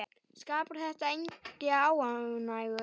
Skapar þetta enga óánægju?